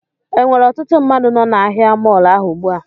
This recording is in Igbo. Enwere ọtụtụ mmadụ nọ na ahịa mọọlụ ahụ ugbu a?